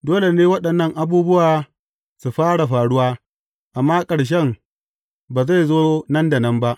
Dole ne waɗannan abubuwa su fara faruwa, amma ƙarshen ba zai zo nan da nan ba.